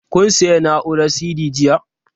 Kun sayi na'urar CD jiya?